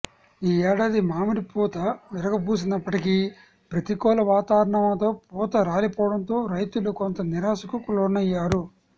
ఈ ఏడాది మామిడి పూత విరగబూసినప్పటికీ ప్రతికూల వాతావరణంతో పూత రాలిపోవడంతో రైతులు కొంత నిరాశకు లోనయ్యారు